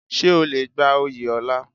Ṣé o le gba oyè ọlá?